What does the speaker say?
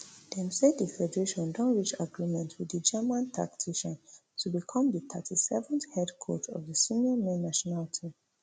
dem say di federation don reach agreement wit di german tactician to become di thirty-seventh head coach of di senior men national team